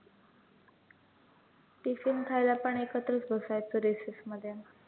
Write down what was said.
tiffin खायला पण एकत्रचं बसायचो recess मध्ये